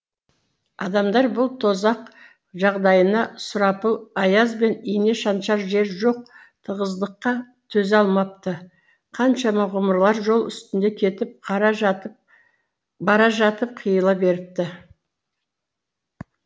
адамдар бұл тозақ жағдайына сұрапыл аяз бен ине шаншар жер жоқ тығыздыққа төзе алмапты қаншама ғұмырлар жол үстінде кетіп бара жатып қиыла беріпті